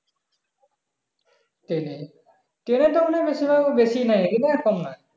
train এ train এ তো মনে হয় বেসি ভাড়া